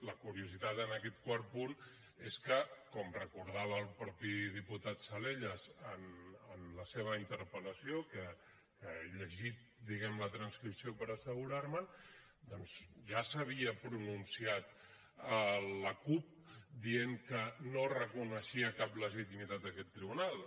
la curiositat en aquest quart punt és que com recordava el mateix diputat salellas en la seva interpel·lació que he llegit diguem ne la transcripció per assegurar me’n doncs ja s’havia pronunciat la cup dient que no reconeixia cap legitimitat a aquest tribunal